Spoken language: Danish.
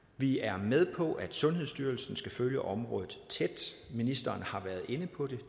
vi er med på at sundhedsstyrelsen skal følge området tæt ministeren har været inde på det